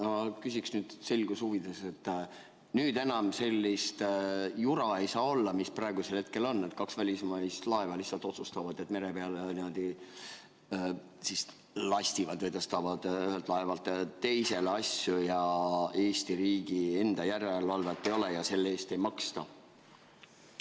Ma küsin nüüd selguse huvides, kas enam ei saa olla sellist jura, mis praegusel hetkel on, et kaks välismaist laeva lihtsalt otsustavad, et mere peal lastivad, tõstavad ühelt laevalt teisele asju ja Eesti riigi järelevalvet selle üle ei ole ja selle eest ei maksta.